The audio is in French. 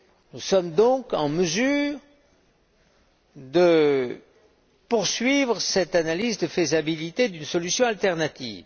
Nous sommes donc en mesure de poursuivre cette analyse de faisabilité concernant une solution alternative.